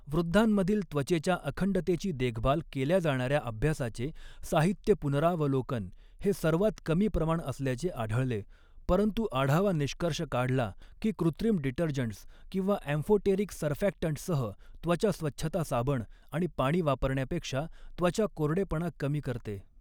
वृद्धांमधील त्वचेच्या अखंडतेची देखभाल केल्या जाणाऱ्या अभ्यासाचे साहित्य पुनरावलोकन हे सर्वात कमी प्रमाण असल्याचे आढळले परंतु आढावा निष्कर्ष काढला की कृत्रिम डिटर्जंट्स किंवा अँफोटेरिक सर्फॅक्टंट्ससह त्वचा स्वच्छता साबण आणि पाणी वापरण्यापेक्षा त्वचा कोरडेपणा कमी करते.